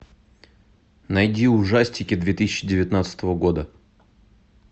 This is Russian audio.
найди ужастики две тысячи девятнадцатого года